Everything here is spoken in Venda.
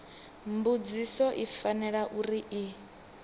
mbudziso i fanela uri i